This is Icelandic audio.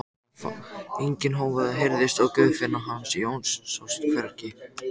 Enginn hávaði heyrðist og Guðfinna hans Jóns sást hvergi.